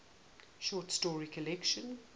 short story collection